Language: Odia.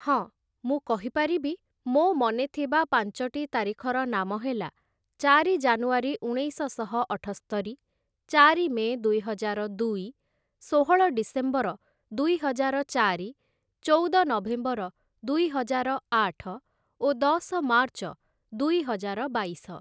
ହଁ, ମୁଁ କହିପାରିବି ମୋ' ମନେଥିବା ପାଞ୍ଚଟି ତାରିଖର ନାମ ହେଲା, ଚାରି ଜାନୁଆରୀ ଉଣେଇଶଶହ ଅଠସ୍ତରି, ଚାରି ମେ' ଦୁଇହଜାର ଦୁଇ, ଷୋହଳ ଡିସେମ୍ବର ଦୁଇହଜାର ଚାରି, ଚଉଦ ନଭେମ୍ବର ଦୁଇହଜାର ଆଠ ଓ ଦଶ ମାର୍ଚ୍ଚ ଦୁଇହଜାର ବାଇଶ ।